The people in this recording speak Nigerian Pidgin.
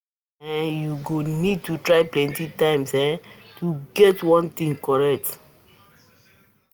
Sometimes um you go need to try plenty times um to get um one thing um one thing